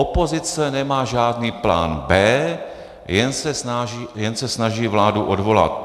Opozice nemá žádný plán B, jen se snaží vládu odvolat.